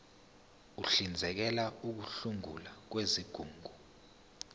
uhlinzekela ukusungulwa kwezigungu